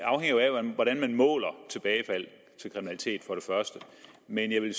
hvordan man måler tilbagefald til kriminalitet men jeg vil